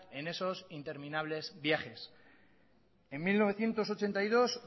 en esos interminables viajes en mil novecientos ochenta y dos